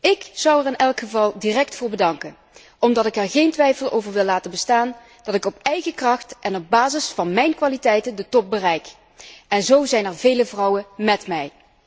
Ik zou er in elk geval direct voor bedanken, omdat ik er geen twijfel wil laten bestaan dat ik op eigen kracht en op basis van mijn kwaliteiten de top bereik en zo zijn er vele vrouwen met mij.